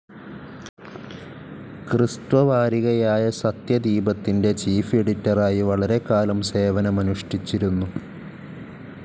ക്രിസ്ത്വ വാരികയായ സത്യദീപത്തിൻ്റെ ചീഫ്‌ എഡിറ്ററായി വളരെക്കാലം സേവനമുഷ്ഠിച്ചിരുന്നു.